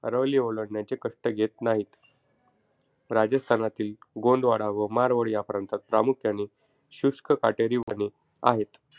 अरवली ओलांडण्याचे कष्ट घेत नाहीत. राजस्थानातील गोंदवाडा व मारवाड या प्रांतांत प्रामुख्याने शुष्क काटेरी वने आहेत.